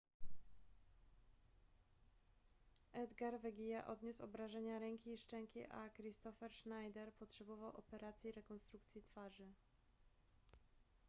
edgar veguilla odniósł obrażenia ręki i szczęki a kristoffer schneider potrzebował operacji rekonstrukcji twarzy